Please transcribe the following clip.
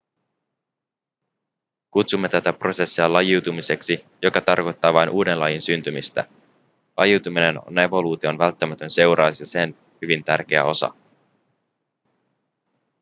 kutsumme tätä prosessia lajiutumiseksi joka tarkoittaa vain uuden lajin syntymistä lajiutuminen on evoluution välttämätön seuraus ja sen hyvin tärkeä osa